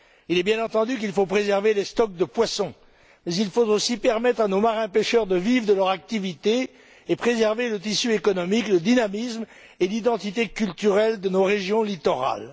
Il est bien entendu qu'il faut préserver les stocks de poissons, mais il faut aussi permettre à nos marins pêcheurs de vivre de leur activité et préserver le tissu économique, le dynamisme et l'identité culturelle de nos régions littorales.